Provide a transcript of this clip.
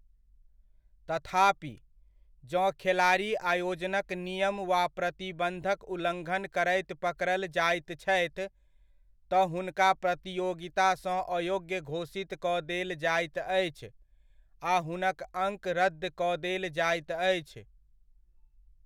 तथापि, जँ खेलाड़ी आयोजनक नियम वा प्रतिबन्धक उल्लङ्घन करैत पकड़ल जाइत छथि, तँ हुनका प्रतियोगितासँ अयोग्य घोषित कऽ देल जाइत अछि आ हुनक अङ्क रद्द कऽ देल जाइत अछि।